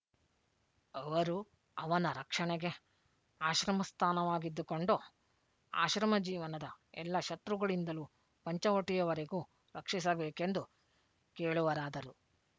ಅವರು ಅವನ ರಕ್ಷಣೆಗೆ ಆಶ್ರಮಸ್ಥಾನವಾಗಿದ್ದುಕೊಂಡು ಆಶ್ರಮಜೀವನದ ಎಲ್ಲ ಶತ್ರುಗಳಿಂದಲೂ ಪಂಚವಟಿಯವರೆಗೂ ರಕ್ಷಿಸಬೇಕೆಂದು ಕೇಳುವರಾದರು